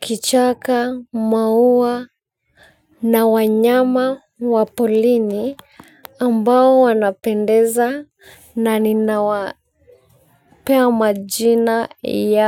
kichaka Maua Na wanyama wa polini ambao wanapendeza na ninawapea majina yao.